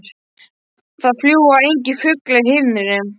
Það fljúga engir fuglar í himninum.